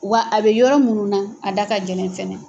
Wa a bɛ yɔrɔ munnu na a da ka gɛlɛn kɛnɛ.